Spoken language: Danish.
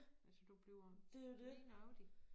Altså du bliver lige nøjagtig